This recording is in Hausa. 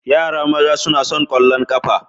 Yaran maza suna son ƙwallon ƙafa.